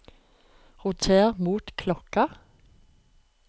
roter mot klokka